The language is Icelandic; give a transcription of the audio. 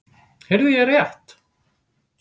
Heyrði ég rétt?